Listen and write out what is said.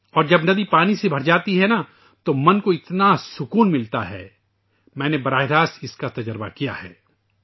اور جب ندی پانی سے بھر جاتی ہے ، تودل میں بہت سکون محسوس کرتا ہے ، میں نے اس کا براہ راست تجربہ کیا ہے